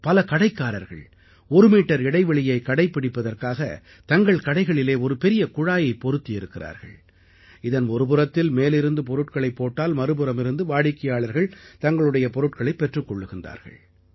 பல கடைக்காரர்கள் ஒருமீட்டர் இடைவெளியை கடைப்பிடிப்பதற்காக தங்கள் கடைகளிலே ஒரு பெரிய குழாயை பொருத்தி இருக்கிறார்கள் இதன் ஒருபுறத்தில் மேலிருந்து பொருட்களைப் போட்டால் மறுபுறமிருந்து வாடிக்கையாளர்கள் தங்களுடைய பொருட்களைப் பெற்றுக் கொள்கிறார்கள்